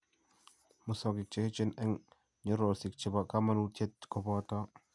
musogik che eecheen eng' nyororosyek che po kamanuutyet koboto: